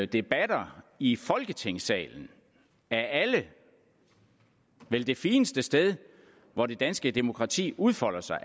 debatter i folketingssalen af alle vel det fineste sted hvor det danske demokrati udfolder sig